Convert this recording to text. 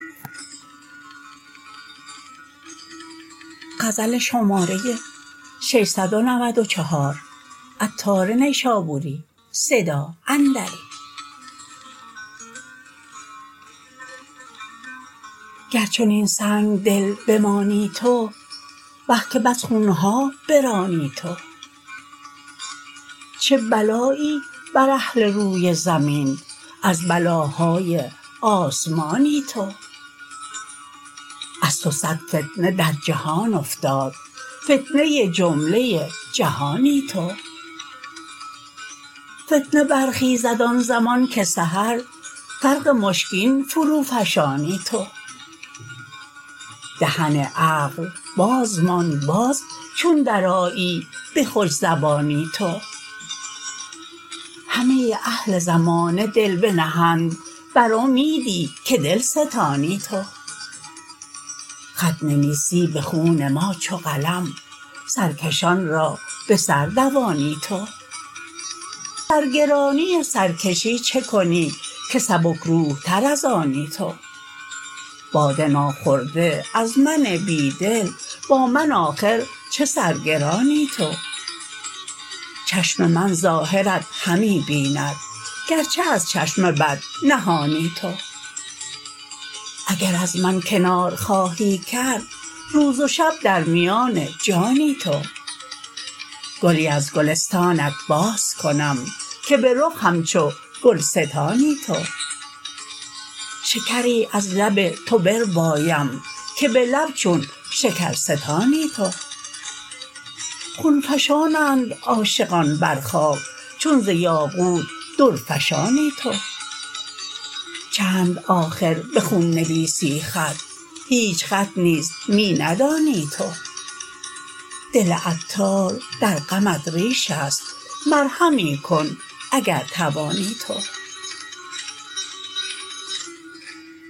گر چنین سنگدل بمانی تو وه که بس خون ها برانی تو چه بلایی بر اهل روی زمین از بلاهای آسمانی تو از تو صد فتنه در جهان افتاد فتنه جمله جهانی تو فتنه برخیزد آن زمان که سحر فرق مشکین فرو فشانی تو دهن عقل باز ماند باز چون درآیی به خوش زبانی تو همه اهل زمانه دل بنهند بر امیدی که دلستانی تو خط نویسی به خون ما چو قلم سرکشان را به سر دوانی تو سرگرانی و سرکشی چه کنی که سبک روح تر از آنی تو باده ناخورده از من بیدل با من آخر چه سر گرانی تو چشم من ظاهرت همی بیند گرچه از چشم بد نهانی تو اگر از من کنار خواهی کرد روز و شب در میان جانی تو گلی از گلستانت باز کنم که به رخ همچو گلستانی تو شکری از لب تو بربایم که به لب چون شکرستانی تو خون فشانند عاشقان بر خاک چون ز یاقوت درفشانی تو چند آخر به خون نویسی خط هیچ خط نیز می ندانی تو دل عطار در غمت ریش است مرهمی کن اگر توانی تو